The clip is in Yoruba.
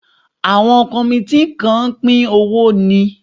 Àwọn kọmití kàn pín owó ni